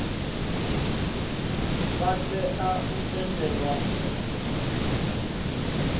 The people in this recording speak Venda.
vha tea u tendelwa u